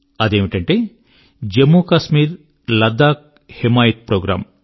అదేమిటంటే జమ్ము కశ్మీర్ మరియు లద్దాఖ్ యొక్క హిమాయత్ ప్రోగ్రామ్